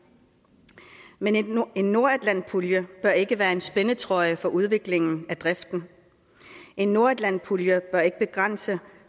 men en nordatlantpulje bør ikke være en spændetrøje for udviklingen af driften en nordatlantpulje bør ikke begrænse